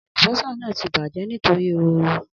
Alubosa naa ti bajẹ nitori ooru